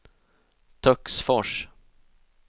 Töcksfors